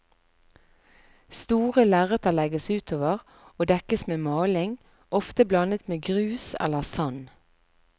Store lerreter legges utover og dekkes med maling, ofte blandet med grus eller sand.